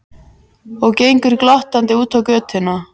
Og gengur glottandi út á götuna.